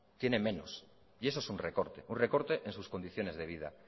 tienen menos y eso es un recorte un recorte en sus condiciones de vida